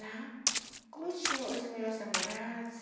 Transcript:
Lá, como eu tinha os meus namorados,